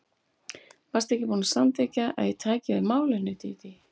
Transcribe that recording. Varstu ekki búin að samþykkja að ég tæki við málinu, Dídí?